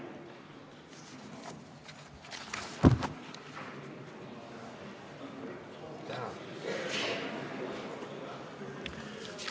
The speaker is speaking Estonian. Tänan!